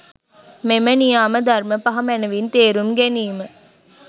මෙම නියාම ධර්ම පහ මැනවින් තේරුම් ගැනීම,